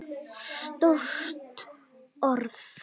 Stórt orð.